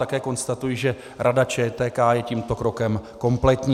Také konstatuji, že Rada ČTK je tímto krokem kompletní.